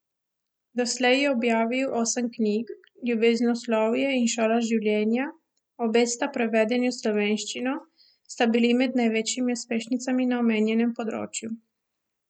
Doslej je objavil osem knjig, Ljubeznoslovje in Šola življenja, obe sta prevedeni v slovenščino, sta bili med največjimi uspešnicami na omenjenem področju.